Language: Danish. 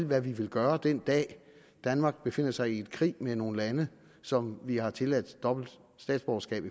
hvad vi vil gøre den dag danmark befinder sig i krig med nogle lande som vi har tilladt dobbelt statsborgerskab